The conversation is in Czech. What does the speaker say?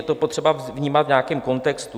Je potřeba to vnímat v nějakém kontextu.